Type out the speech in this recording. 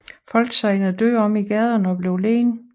Folk segnede døde om i gaderne og blev liggende